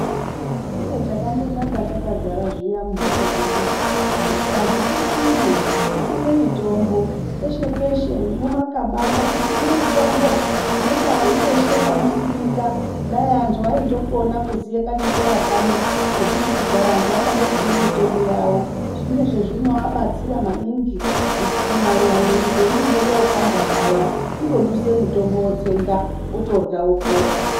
Chiro chakandonaka takagarazviya mumhatso dzedudzo, kuti antu tisime, tisime mitombo peshe peshe nemumakaba ngatisime mitombo, nepari peshe panosimika. Dai antu aindokona kuziya kachikora kano kekuti, kugara antu akandosima mitombo yavo zvine zvezvinoabatsira maningi kunyanya mwiri peinonga yopanda paya. Kundoduse mitombo wotsenga wotodya wopora.